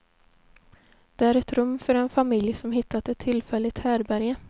Det är ett rum för en familj som hittat ett tillfälligt härbärge.